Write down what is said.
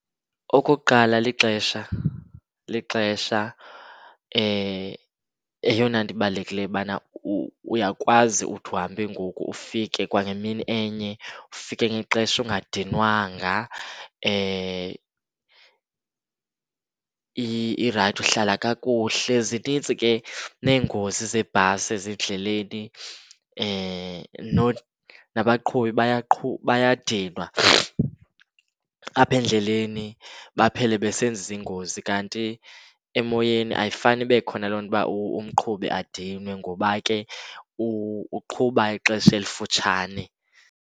Okokuqala lixesha, lixesha. Yeyona nto ibalulekileyo ubana uyakwazi uthi uhambe ngoku ufike kwangemini enye, ufike ngexesha ungadinwanga. Irayithi, uhlala kakuhle. Zinintsi ke neengozi zeebhasi ezindleleni. Nabaqhubi bayadinwa apha endleleni baphele besenza iingozi, kanti emoyeni ayifani ibe khona loo nto uba umqhubi adinwe ngoba ke uqhuba ixesha elifutshane.